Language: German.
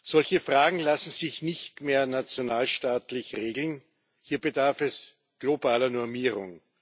Solche Fragen lassen sich nicht mehr nationalstaatlich regeln, hier bedarf es globaler Normierung.